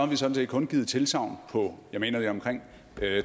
vi sådan set kun givet tilsagn på mener jeg omkring